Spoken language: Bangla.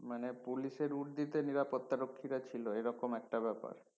মানে পুলিশের উর্দিতে নিরাপত্তা রক্ষীরা ছিলো এই রকম একটা ব্যাপার